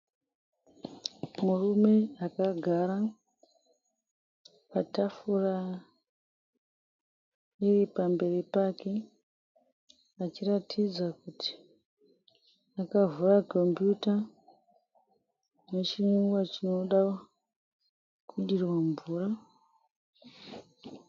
Murume akagara patafura iri pamberi pake achiratidza kuti akavhura kombiyuta nechinwiwa chinoda kudirwa mvura.